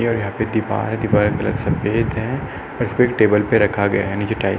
ये यहां पे दीवार है। दीवार का कलर सफेद है और इसको एक टेबल पे रखा गया है। नीचे टाइल्स --